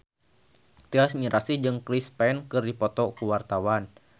Tyas Mirasih jeung Chris Pane keur dipoto ku wartawan